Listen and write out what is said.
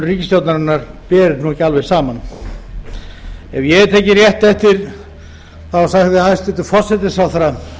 ríkisstjórnarinnar ber ekki alveg saman ef ég hef tekið rétt eftir sagði hæstvirtur forsætisráðherra